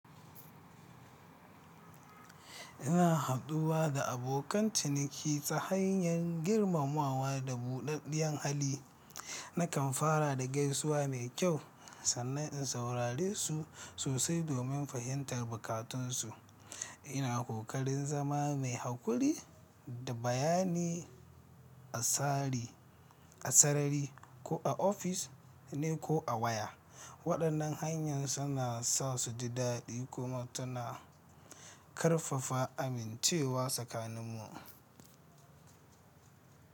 Ina haɗuwa da abokan ciniki ta hanyar girmamawa da buɗaɗɗiyar hali. Nakan fara da gaisuwa mai kyau sannan in saurare su sosai domin fahimtar bukatunsu. Ina kokarin zama mai haƙuri da bayani a sarari ko a ofis ne ko a waya. Waɗannan hanyar suna sa su ji daɗi kuma tana ƙarfafa amincewa tsakaninmu.